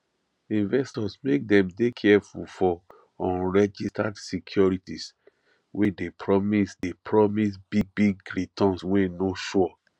investors make dem dey careful for unregistered securities wey dey promise dey promise big big returns wey no sure